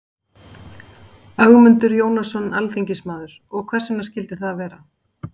Ögmundur Jónasson, alþingismaður: Og hvers vegna skildi það vera?